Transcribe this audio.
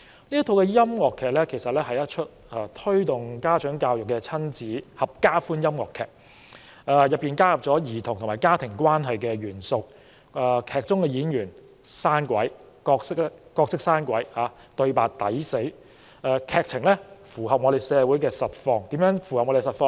那是一齣推動家長教育的親子合家歡音樂劇，其中加入了兒童和家庭關係的元素，劇中的演員演出生動，對白諧趣，劇情正好符合我們社會的實況。